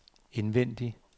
indvendig